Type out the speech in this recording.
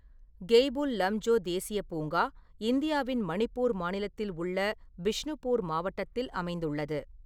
கெய்புல் லம்ஜோ தேசியப் பூங்கா இந்தியாவின் மணிப்பூர் மாநிலத்தில் உள்ள பிஷ்ணுபூர் மாவட்டத்தில் அமைந்துள்ளது.